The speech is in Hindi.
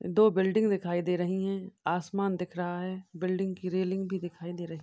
दो बिल्डिंग दिखाई दे रही है आसमान दिख रहा है | बिल्डिंग की रेलिंग भी दिखाई दे रही --